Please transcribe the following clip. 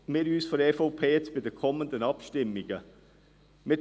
Wie werden wir von der EVP uns bei den kommenden Abstimmungen verhalten?